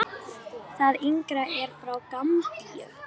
Hann Skapti!